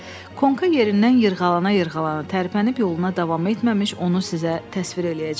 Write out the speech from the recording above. Konka yerindən yırğalana-yırğalana tərpənib yoluna davam etməmiş onu sizə təsvir eləyəcəm.